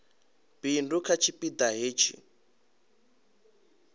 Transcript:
bindu kha tshipi ḓa hetshi